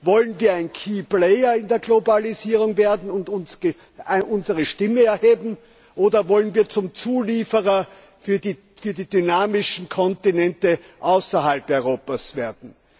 Wollen wir ein key player in der Globalisierung werden und unsere Stimme erheben oder wollen wir zum Zulieferer für die dynamischen Kontinente außerhalb Europas werden?